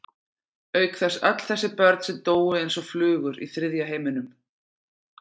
Auk þess öll þessi börn sem dóu eins og flugur í þriðja heiminum.